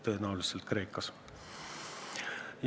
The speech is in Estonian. Tõenäoliselt Kreekas.